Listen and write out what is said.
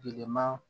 Bilenman